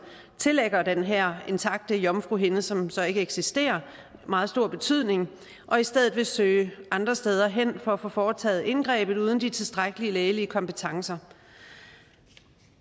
tillægger den her intakte jomfruhinde som så ikke eksisterer meget stor betydning og i stedet vil søge andre steder hen for at få foretaget indgrebet uden de tilstrækkelige lægelige kompetencer